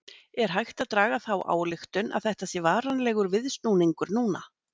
Er hægt að draga þá ályktun að þetta sé varanlegur viðsnúningur núna?